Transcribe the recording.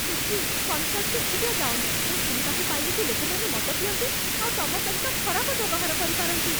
ସୁଚି, କନ୍ସର୍ଟକୁ ଏକୁଟିଆ ଯାଅନି । ମୁଁ ଶୁଣିବାକୁ ପାଇଲି ଯେ ଲୋକମାନେ ମଦ ପିଅନ୍ତି, ଆଉ ତମ ସହିତ ଖରାପ ବ୍ୟବହାର କରିପାରନ୍ତି ।